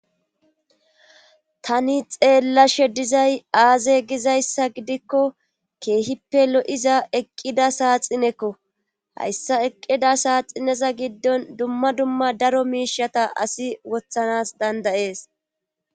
Tani xeella she dizay aaze gizayssa gidikko keehippe lo'iza eqqida saaxinekko hayssa eqqida saaxineza giddon dumma dumma daro miishata asi wothanas dandayees.